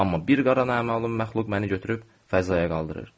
Amma bir qara naməlum məxluq məni götürüb fəzaya qaldırır.